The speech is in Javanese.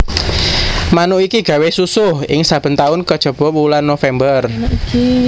Manuk iki gawé susuh ing saben taun kajaba wulan November